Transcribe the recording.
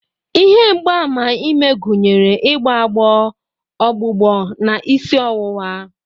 Ihe mgbaàmà ime gụnyere igbo agbo, ọgbụgbọ, na isi ọwụwa.